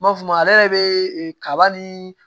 N m'a faamuya ale yɛrɛ be kaba ni